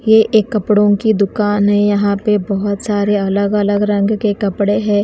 ये एक कपड़ों की दुकान है यहां पे बहोत सारे अलग अलग रंग के कपड़े हैं।